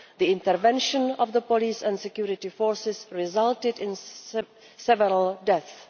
The intervention of the police and security forces resulted in several deaths.